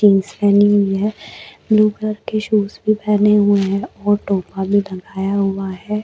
Jeans पहनी हुई है ब्लू कलर के शूज भी पहने हुए है और टोपा भी लगाया हुआ है।